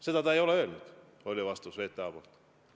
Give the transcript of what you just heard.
VTA vastus oli, et seda ta ei ole öelnud.